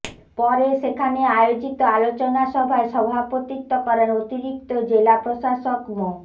পরে সেখানে আয়োজিত আলোচনা সভায় সভাপতিত্ব করেন অতিরিক্ত জেলা প্রশাসক মো